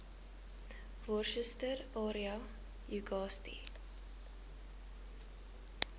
worcester area uagasti